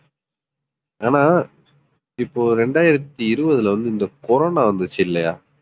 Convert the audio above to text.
ஆனா இப்போ இரண்டாயிரத்து இருபதுல வந்து இந்த கொரோனா வந்துச்சு இல்லையா